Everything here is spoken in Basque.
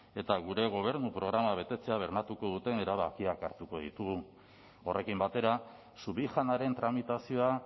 eta gure gobernu programa betetzea bermatuko duten erabakiak hartuko ditugu horrekin batera subijanaren tramitazioa